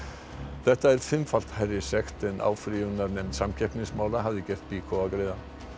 þetta er fimmfalt hærri sekt en áfrýjunarnefnd samkeppnismála hafði gert BYKO að greiða